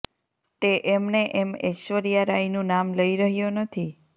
તે એમને એમ ઐશ્વર્યા રાયનું નામ લઇ રહ્યો નથી